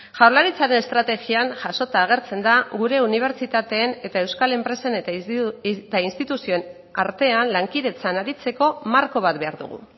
jaurlaritzaren estrategian jasota agertzen da gure unibertsitateen eta euskal enpresen eta instituzioen artean lankidetzan aritzeko marko bat behar dugu